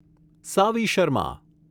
Savi Sharma